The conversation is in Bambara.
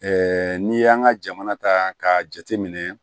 n'i y'an ka jamana ta k'a jate minɛ